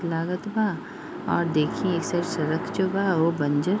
लागत बा और देखिए इस सड़क जो बा वो बंजर --